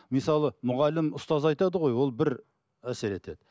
мысалы мұғалім ұстаз айтады ғой ол бір әсер етеді